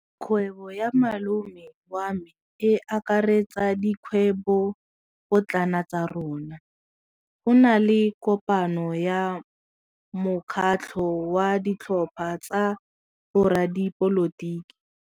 Kgwêbô ya malome wa me e akaretsa dikgwêbôpotlana tsa rona. Go na le kopanô ya mokgatlhô wa ditlhopha tsa boradipolotiki.